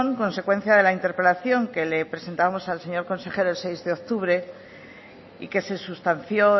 consecuencia de la interpelación que le presentamos al señor consejero el seis de octubre y que se sustanció